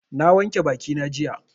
Na wanke bakina jiya.